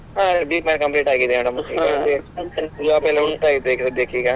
ಹ B.Com complete ಆಗಿದೆ madam Job ಎಲ್ಲ ಹುಡುಕ್ತಾ ಇದ್ದೆ ಈಗ ಸದ್ಯಕ್ಕೆ ಈಗ.